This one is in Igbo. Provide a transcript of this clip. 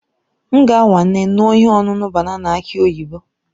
M ga-anwale ṅụọ ihe ọṅụṅụ banana aki oyibo.